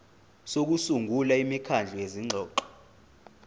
sokusungula imikhandlu yezingxoxo